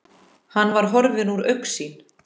Hann var horfinn úr augsýn.